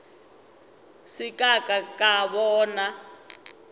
se ka ka ka bona